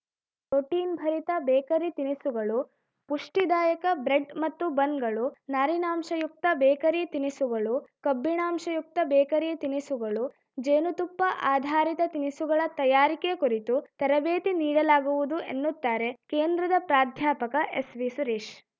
protein ಭರಿತ bakery ತಿನಿಸುಗಳು ಪುಷ್ಟಿದಾಯಕ bread ಮತ್ತು ಬನ್‌ಗಳು ನಾರಿನಾಂಶಯುಕ್ತ bakery ತಿನಿಸುಗಳು ಕಬ್ಬಿಣಾಂಶಯುಕ್ತ ಬೇಕರಿ ತಿನಿಸುಗಳು ಜೇನು ತುಪ್ಪ ಆಧಾರಿತ ತಿನಿಸುಗಳ ತಯಾರಿಕೆ ಕುರಿತು ತರಬೇತಿ ನೀಡಲಾಗುವುದು ಎನ್ನುತ್ತಾರೆ ಕೇಂದ್ರದ ಪ್ರಾಧ್ಯಾಪಕ ಎಸ್‌ವಿಸುರೇಶ್‌